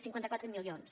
cinquanta quatre milions